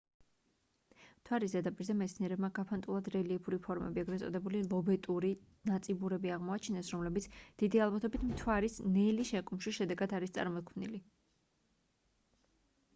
მთვარის ზედაპირზე მეცნიერებმა გაფანტულად რელიეფური ფორმები ეგრეთ წოდებული ლობეტური ნაწიბურები აღმოაჩინეს რომლებიც დიდი ალბათობით მთვარის ნელი შეკუმშვის შედეგად არის წარმოქმნილი